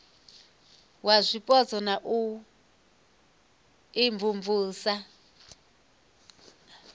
wa zwipotso na u imvumvusa